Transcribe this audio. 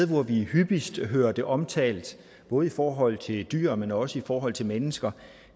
hvor vi hyppigst hører det omtalt både i forhold til dyr men også i forhold til mennesker